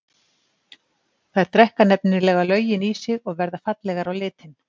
Þær drekka nefnilega löginn í sig og verða fallegar á litinn.